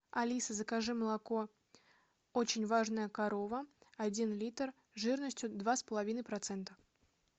алиса закажи молоко очень важная корова один литр жирностью два с половиной процента